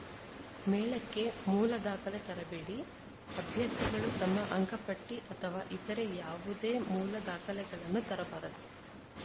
ಮೇಳಕ್ಕೆ ಮೂಲ ದಾಖಲೆ ತರಬೇಡಿ ಅಭ್ಯರ್ಥಿಗಳು ತಮ್ಮ ಅಂಕಪಟ್ಟಿಅಥವಾ ಇತರೆ ಯಾವುದೇ ಮೂಲ ದಾಖಲೆಗಳನ್ನು ತರಬಾರದು